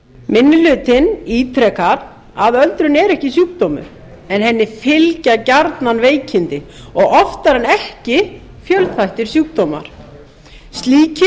minni hlutinn ítrekar að öldrun er ekki sjúkdómur en henni fylgja gjarnan veikindi og oftar en ekki fjölþættir sjúkdómar slíkir